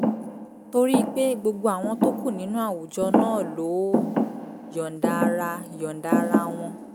torí pé gbogbo àwọn tó kù nínú àwùjọ náà ló yọ̀ǹda ara yọ̀ǹda ara wọn